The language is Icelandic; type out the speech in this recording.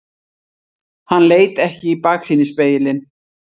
Hann leit ekki í baksýnisspegilinn.